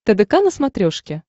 тдк на смотрешке